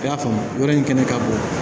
I y'a faamu yɔrɔ in kɛnɛ ka bon